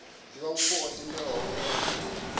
divhavhupo o tendelwaho e kha